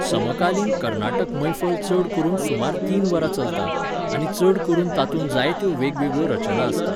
समकालीन कर्नाटक मैफल चड करून सुमार तीन वरां चलता, आनी चड करून तातूंत जायत्यो वेगवेगळ्यो रचना आसतात.